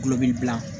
Kulobili gilan